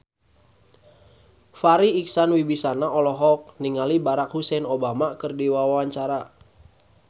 Farri Icksan Wibisana olohok ningali Barack Hussein Obama keur diwawancara